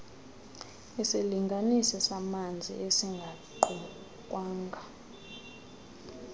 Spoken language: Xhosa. isilinganisi samanzi esingaqukwanga